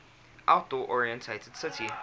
outdoor oriented city